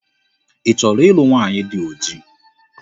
Ị chọrọ ịlụ nwaanyi dị ojii?